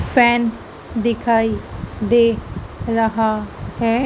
Fan दिखाई दे रहा है।